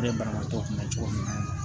Ne banabaatɔ kun bɛ cogo min na